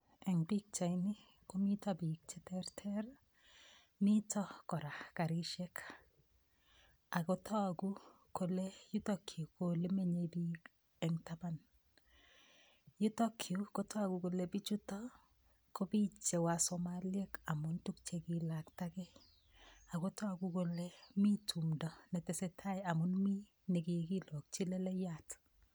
Eng' pikchaini komito biik cheterter mito kora karishek akotoku kole yutokyu ko ole menyei biik eng' taban yutokyu kotoku kole bichuto ko biich che wasomaliek amun tukchekiilaktagei akotoku kole mi tumdo netesei tai amun mi nikikilokchi leleiyat